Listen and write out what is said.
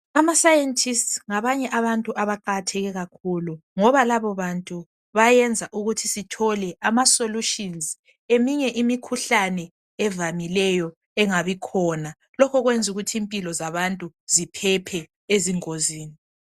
Amascientists ngabanye abantu abaqakathekileyo kakhulu! Ngoba labobantu, bayenza ukuthi sithole amasolutions, ngeminye imikhuhlane evamileyo, engabikhona. Lokho kwenza ukuthi impilo zabantu, ziphephe ezingozini.